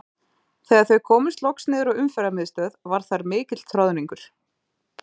Þegar þau komust loks niður á Umferðarmiðstöð var þar mikill troðningur.